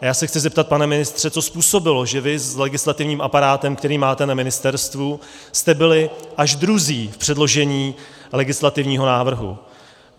A já se chci zeptat, pane ministře, co způsobilo, že vy s legislativním aparátem, který máte na ministerstvu, jste byli až druzí v předložení legislativního návrhu.